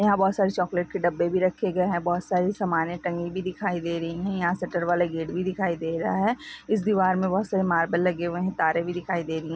यहा बहुत सारे चॉकलेट के डब्बे भी रखे गए है बहुत सारी समाने टंगी हुई भी दिखाई दे रही है यहा शटर वाले गेट भी दिखाई दे रहा है इस दीवार मे बहुत सारे मार्बल लगे हुए और तारे भी दिखाई दे रहे।